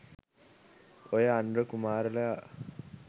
ඔය අනුර කුමාරලා